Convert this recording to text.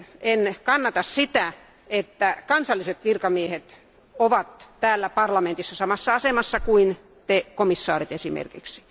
En kannata sitä, että kansalliset virkamiehet ovat täällä parlamentissa samassa asemassa kuin te komissaarit esimerkiksi.